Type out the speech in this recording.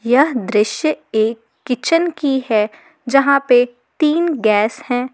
यह दृश्य एक किचन की है जहां पे तीन गैस है।